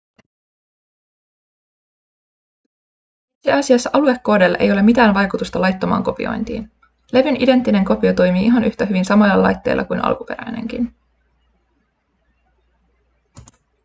itse asiassa aluekoodeilla ei ole mitään vaikutusta laittomaan kopiointiin levyn identtinen kopio toimii ihan yhtä hyvin samoilla laitteilla kuin alkuperäinenkin